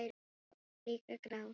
Hann er líka grár.